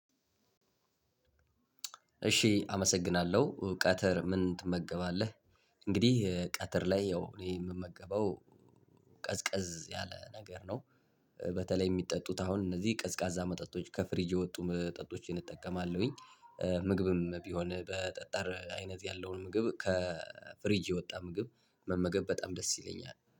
እሺ አመሰግናለሁ ቀትር ምን ትመገባለህ? እንግዲህ ቀትር ላይ ያው እኔ የምመገበው ቀዝቀዝ ያለ ነገር ነው። በተለይ የሚጠጡት አሁን እነዚህ ቀዝቃዛ መጠጦች ከፍሪጅ የወጡ መጠጦችን እጠቀማለሁኝ። ምግብም ቢሆን በጠጣር አይነት ያለውን ምግብ ከፍሪጅ የወጣ ምግብ መመገብ በጣም ደስ ይለኛል